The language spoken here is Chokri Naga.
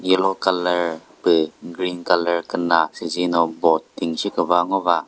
yellow colour püh green colour küna süzino boat ting shi küva ngo va.